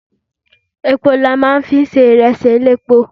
Epo ni a máa ń fi ń ṣe ìrẹsì elépo.